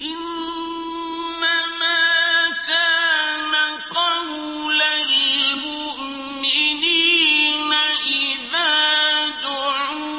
إِنَّمَا كَانَ قَوْلَ الْمُؤْمِنِينَ إِذَا دُعُوا